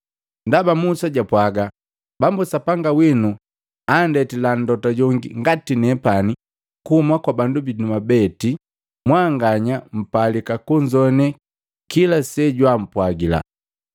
Ndaba Musa jwapwaaga, ‘Bambu Sapanga winu anndetila Mlota jongi ngati nepani kuuma kwa bandu binu mwabeti mwanganya mpalika kunzoane kila sejwaampwagila.